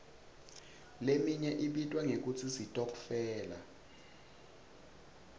leminye ibitwa ngekutsi sitokfela